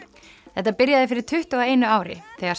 þetta byrjaði fyrir tuttugu og einu ári þegar